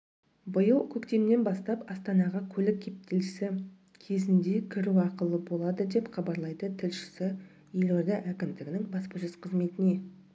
биыл көктемнен бастап астанаға көлік кептелісі кезіндекіру ақылы болады деп хабарлайды тілшісі елорда әкімдігінің баспасөз қызметіне